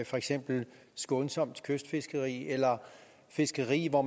for eksempel skånsomt kystfiskeri eller fiskeri hvor